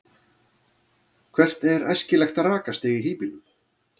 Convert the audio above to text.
hvert er æskilegt rakastig í hýbýlum